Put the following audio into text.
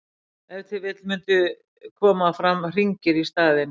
ef til vill mundu koma fram hringir í staðinn